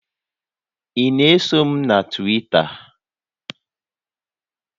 Ị na-eso m na Twita?